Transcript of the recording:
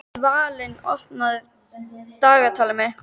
Dvalinn, opnaðu dagatalið mitt.